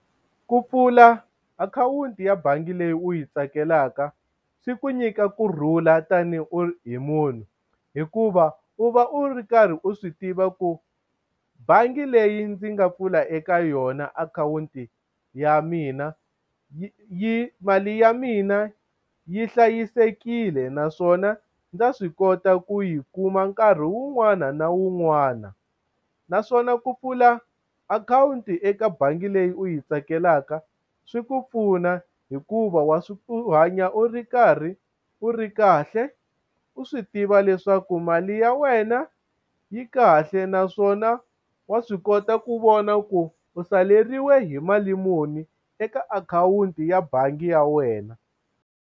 Ku pfula akhawunti ya bangi leyi u yi tsakelaka swi ku nyika kurhula tanihi munhu hikuva u va u ri karhi u swi tiva ku bangi leyi ndzi nga pfula eka yona akhawunti ya mina u yi yi mali ya mina yi hlayisekile naswona ndza swi kota ku yi kuma nkarhi wun'wana na wun'wana naswona ku pfula akhawunti eka bangi leyi u yi tsakelaka swi ku pfuna hikuva wa swi u hanya u ri karhi u ri kahle u swi tiva leswaku mali ya wena yi kahle naswona wa swi kota ku vona ku u saleriwe hi mali muni eka akhawunti ya bangi ya wena.